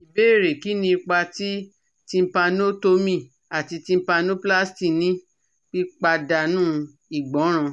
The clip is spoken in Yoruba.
Ìbéèrè: kini Ipa ti tympanotomy ati tympanoplasty ni pipadanu igboran